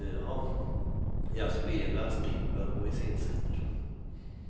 Jag spelar, skriver och iscensätter.